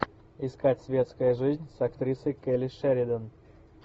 искать светская жизнь с актрисой келли шеридан